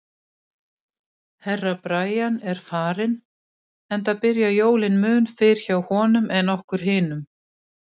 Herra Brian er farinn, enda byrja jólin mun fyrr hjá honum en okkur hinum.